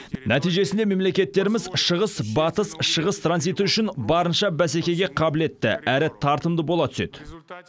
нәтижесінде мемлекеттеріміз шығыс батыс шығыс транзиті үшін барынша бәсекеге қабілетті әрі тартымды бола түседі